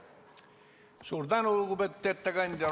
Suur tänu, lugupeetud ettekandja!